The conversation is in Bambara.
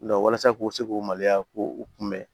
walasa k'u se k'u maloya k'u kunbɛn